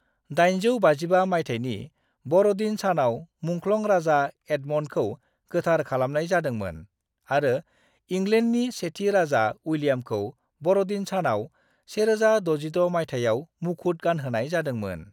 855 मायथाइनि बर'दिन सानाव मुंख्लं राजा एडमन्डखौ गोथार खालामनाय जादोंमोन आरो इंलेन्डनि सेथि राजा उइलियामखौ बर'दिन सानाव 1066 मायथाइयाव मुखुद गानहोनाय जादोंमोन।